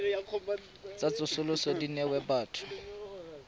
tsa tsosoloso di newa batho